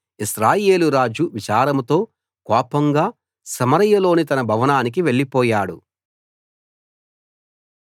ఇశ్రాయేలు రాజు విచారంతో కోపంగా సమరయలోని తన భవనానికి వెళ్ళిపోయాడు